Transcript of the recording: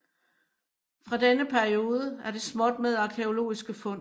Fra denne periode er det småt med arkæologiske fund